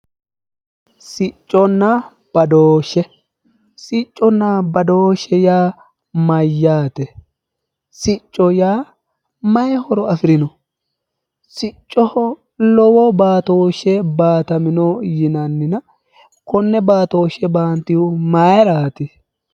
Sicconna badooshshe, sicconna badooshshe yaa mayyaate? sicco yaa maayi horo afirino? siccoho lowo baatooshshe baatamino yinannina konne baatooshshe baantihu maayiiraati?